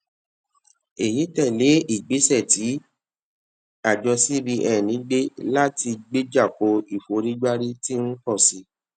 èyí tè lé ìgbésẹ tí àjọ cbn gbé láti gbéjà ko ìforígbárí tí ń pọ sí